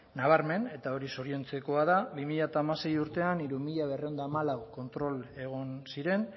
nabarmen eta hori zoriontzekoa da bi mila hamasei urtean hiru mila berrehun eta hamalau kontrol egon ziren